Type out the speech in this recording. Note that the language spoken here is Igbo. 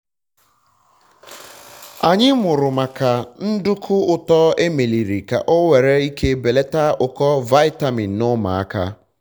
onye nchọpụta ahụ kuziri anyi otu esi emeputa tii ure a na-etinyere otuboala. eji ukwu unere emeputa ya bụ tii ure